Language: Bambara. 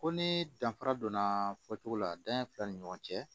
Ko ni danfara donna fɔcogo la danɲɛ fila ni ɲɔgɔn cɛ